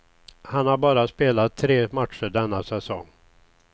Han har bara spelat tre matcher denna säsong.